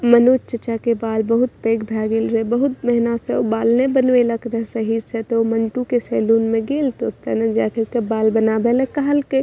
मनोज चाचा के बाल बहुत पैग भेगेल रहे बहुत महीना से उ बाल न बनवेलक रहे सही से ते ऊ मंटू के सैलून में गेल त ओते न जाकर के बाल बनावे ले कहल के।